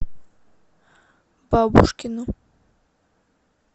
бабушкину